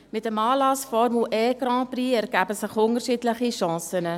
Mit dem Anlass Formel-EGrand-Prix ergeben sich unterschiedliche Chancen.